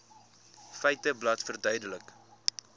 feiteblad verduidelik